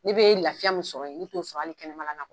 Ne be lafiya min sɔrɔ yen ne t'o sɔrɔ ali kɛnɛma na kuwa